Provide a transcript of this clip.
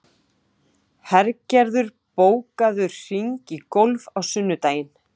Hergerður, bókaðu hring í golf á sunnudaginn.